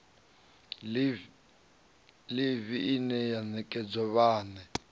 ḽivi ine ya nekedzwa vhane